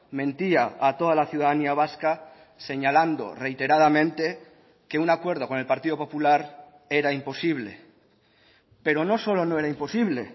mentía a toda la ciudadanía vasca señalando reiteradamente que un acuerdo con el partido popular era imposible pero no solo no era imposible